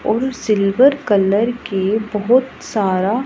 और silver colour के बहोत सारा--